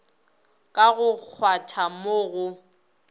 ka go kgwatha mo go